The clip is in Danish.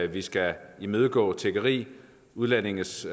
vi skal imødegå tiggeri og udlændinges